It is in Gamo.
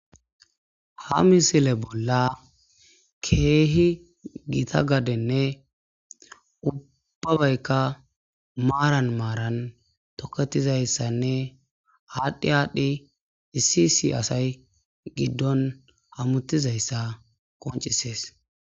ha misile bolla keehi gita gadenne ubba baykka maaran maaran toketizayssanne aadhdhi aadhdhi issi isi asay giddon hamuttizayssa qoncisees